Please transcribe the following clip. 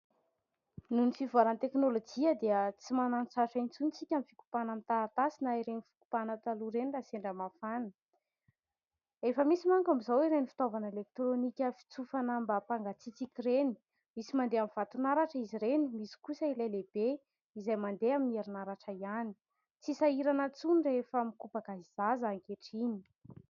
Noho ny fivoarana ny teknolojia dia tsy manana fahasarotana intsony isika ny fikopahana ny taratasy Ary ireny fikopahana taloha ireny raha sendra mafana fa efa misy manko amin'ny izaho ireny fitaovana eletronika fitsofana mba hampangatsiatsika ireny, misy mandeha amin'ny vaton'aratra izy ireny, misy koa ireo lehibe izay mandeha amin'ny herinaratra ihany. Tsy sahirana intsony rehefa mikopaka ny zaza ankehitriny.